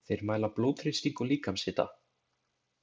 Þeir mæla blóðþrýsting og líkamshita.